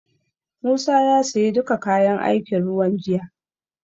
Musa ya siyo duka kayan aikin ruwan jiya.